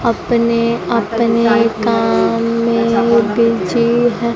अपने अपने काम में बिजी हैं।